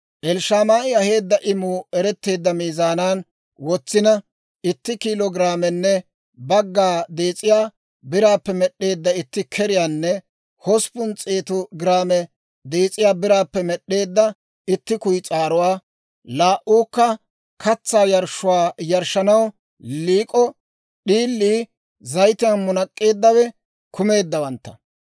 Elishamaa'i aheedda imuu eretteedda miizaanan wotsina, itti kiilo giraamenne bagga dees'iyaa biraappe med'd'eedda itti keriyaanne hosppun s'eetu giraame dees'iyaa biraappe med'd'eedda itti kuyis'aaruwaa, laa"uukka katsaa yarshshuwaa yarshshanaw liik'o d'iilii zayitiyaan munak'k'eeddawe kumeeddawantta;